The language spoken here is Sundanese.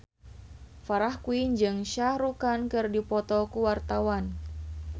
Farah Quinn jeung Shah Rukh Khan keur dipoto ku wartawan